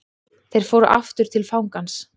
Þeir fóru aftur til fangans.